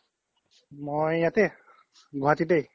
মই ইয়াতে গুৱাহাতিতে